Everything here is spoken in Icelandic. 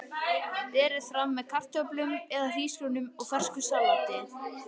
Berið fram með kartöflum eða hrísgrjónum og fersku salati.